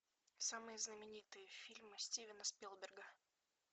самые знаменитые фильмы стивена спилберга